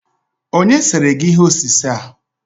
Onye sere gi ihe osise a?